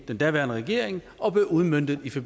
den daværende regering og aftalen blev udmøntet